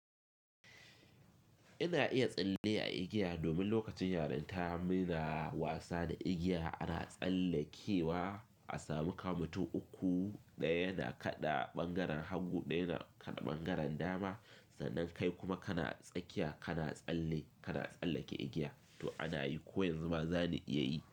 Ina iya tsalle a igiya domin lokacin yarin ta ina wasa da igiya ana tsallekewa a samu kamu uku ɗaya na kaɗa ɓangaren hagu ɗaya na kaɗa ɓangaren dama. Sannan kai kuma kana tsakiya kana tsalle kana tsallake igiya to ana yi ko yanzu ma za ni iya yi.